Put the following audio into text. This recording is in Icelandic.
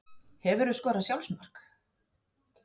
Hefurðu skorað sjálfsmark?